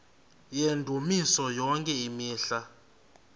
yendumiso yonke imihla